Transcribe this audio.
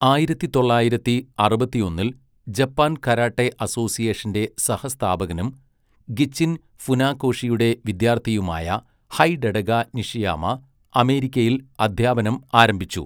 ആയിരത്തിത്തൊള്ളായിരത്തി അറുപത്തിയൊന്നിൽ Japan karate അസോസിയേഷന്റെ സഹസ്ഥാപകനും, ഗിച്ചിൻ ഫുനാകോഷിയുടെ വിദ്യാർത്ഥിയുമായ, ഹൈഡെടക നിഷിയാമ അമേരിക്കയിൽ അദ്ധ്യാപനം ആരംഭിച്ചു.